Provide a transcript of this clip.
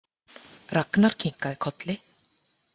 Ragnar kinkaði kolli.